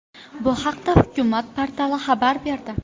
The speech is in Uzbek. Bu haqda Hukumat portali xabar berdi .